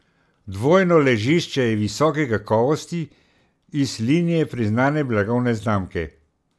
Dvojno ležišče je visoke kakovosti, iz linije priznane blagovne znamke.